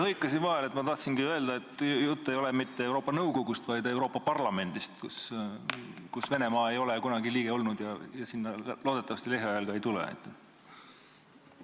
Ma hõikasin vahele, sest ma tahtsingi öelda, et jutt ei ole mitte Euroopa Nõukogust, vaid Euroopa Parlamendist, kus Venemaa ei ole kunagi liige olnud ja loodetavasti lähiajal selleks ka ei saa.